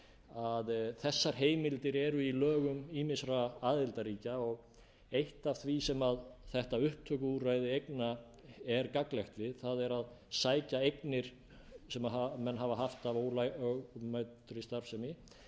að þessar heimildir eru í lögum ýmissa aðildarríkja og eitt af því sem þetta upptökuúrræði eigna er gagnlegt við er að sækja eignir sem menn hafa haft af ólögmætri